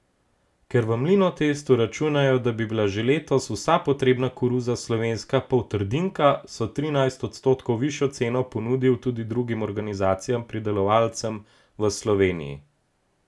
Ker v Mlinotestu računajo, da bi bila že letos vsa potrebna koruza slovenska poltrdinka, so trinajst odstotkov višjo ceno ponudil tudi drugim organiziranim pridelovalcem v Sloveniji.